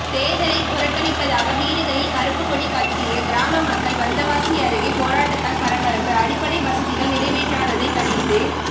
தேர்தலை புறக்கணிப்பதாக வீடுகளில் கருப்புக்கொடி கட்டிய கிராம மக்கள் வந்தவாசி அருகே போராட்டத்தால் பரபரப்பு அடிப்படை வசதிகள் நிறைவேற்றாததை கண்டித்து